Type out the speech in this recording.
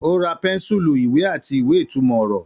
Ó ra pẹ́ńsùlù, ìwé àti ìwé-ìtumọ̀-ọ̀rọ̀.